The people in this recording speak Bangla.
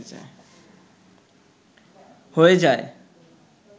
হয়ে যায়